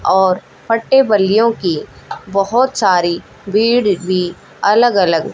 और फट्टे बल्लियों की बहोत सारी भीड़ भी अलग अलग--